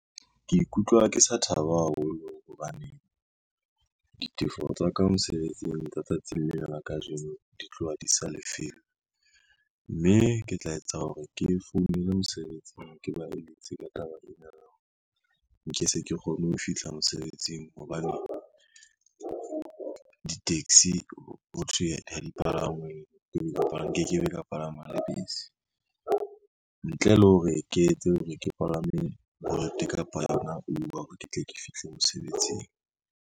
Ke ikutlwa ke sa thaba haholo hobane, ditefo tsa ka mosebetsing ka tsatsing lena la kajeno di tloha di sa , mme ke tla etsa hore ke founele mosebetsing ke ba eletse ka taba ena nke se kgone ho fihla mosebetsing hobane di-taxi ho thwe ha di palangwe, nke ke be ka palama le bese. Ntle le hore ke etse hore ke palame Bolt kapa yona Uber hore ke tle ke fihle mosebetsing.